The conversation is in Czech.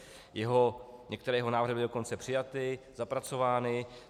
Některé jeho návrhy byly dokonce přijaty, zapracovány.